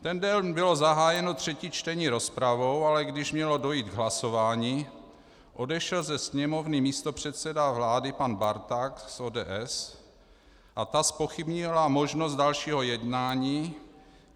Ten den bylo zahájeno třetí čtení rozpravou, ale když mělo dojít k hlasování, odešel ze sněmovny místopředseda vlády pan Barták z ODS a ta zpochybnila možnost dalšího jednání.